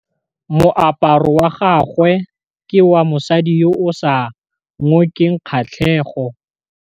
Moaparô wa gagwe ke wa mosadi yo o sa ngôkeng kgatlhegô.